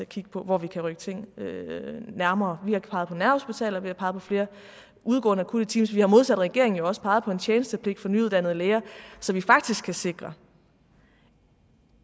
kigge på hvor vi kan rykke ting nærmere vi har peget på nærhospitaler vi har peget på flere udgående akutte teams og vi har modsat regeringen jo også peget på en tjenestepligt for nyuddannede læger så vi faktisk kan sikre